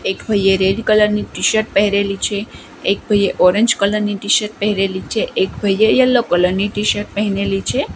એક ભઈએ red colour ની ટીશર્ટ પેહરેલી છે એક ભઈએ ઓરેન્જ કલર ની ટીશર્ટ પેહરેલી છે એક ભઈએ યેલો કલર ની ટીશર્ટ પેહનેલી છે.